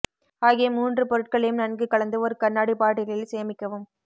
ஆகிய மூன்று பொருட்களையும் நன்கு கலந்து ஒரு கண்ணாடி பாட்டிலில் சேமிக்கவும்